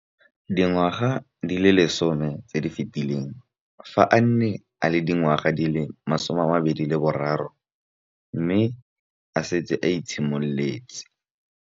Dingwaga di le 10 tse di fetileng, fa a ne a le dingwaga di le 23 mme a setse a itshimoletse